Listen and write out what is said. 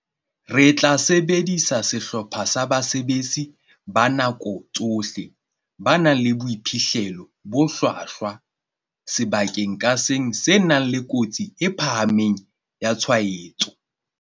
"Re tla sebedisa sehlopha sa basebetsi ba nako tsohle ba nang le boiphihlelo bo hlwahlwa sebakeng ka seng se nang le kotsi e phahameng ya tshwaetso."